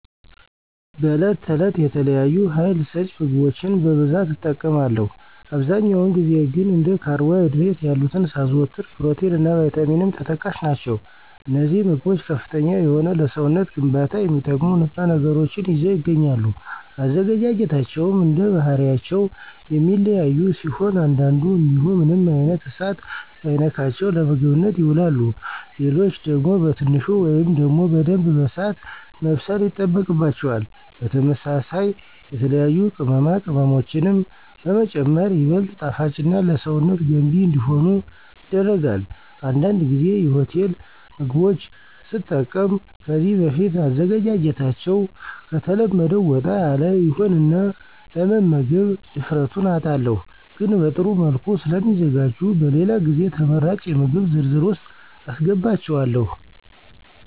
በዕለት ተዕለት የተለያዩ ሀይል ሰጭ ምግቦችን በብዛት እጠቀማለሁ። አብዛኛውን ጊዜ ግን እንደ ካርቦ ሀይድሬት ያሉትን ሳዘወትር ፕሮቲን እና ቫይታሚንም ተጠቃሽ ናቸው። አነዚህ ምግቦች ከፍተኛ የሆነ ለሰውነት ግንባታ የሚጠቅሙ ንጥረ ነገሮችን ይዘው ይገኛሉ። አዘገጃጀታቸውም እንደባህሪያቸው የሚለያዩ ሲሆን አንዳንዱ እንዲሁ ምንም አይነት እሳት ሳይነካቸው ለምግብነት ይውላሉ። ሌሎች ደግሞ በትንሹ ወይም ደግሞ በደንብ በእሳት መብሰል ይጠበቅባቸዋል። በተመሳሳይ የተለያዩ ቅመማ ቅመሞችንም በመጨመር ይበልጥ ጣፋጭና ለሰውነት ገንቢ እንዲሆኑ ይደረጋል። አንዳንድ ጊዜ የሆቴል ምግቦች ስጠቀም ከዚህ በፊት አዘገጃጀታቸዉ ከተለመደው ወጣ ያለ ይሆንና ለመምገብ ድፍረቱን አጣለሁ። ግን በጥሩ መልኩ ስለሚዘጋጁ በሌላ ጊዜ ተመራጭ የምግብ ዝርዝር ውስጥ አሰገባቸዋለሁ።